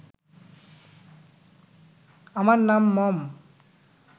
আমার নাম মম